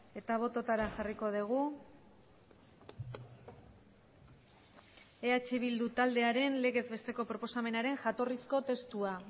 eta bototara jarriko dugu eh bildu taldearen legez besteko proposamenaren jatorrizko testua